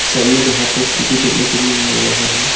Side में लोहा भी देखने को मिल रहा है।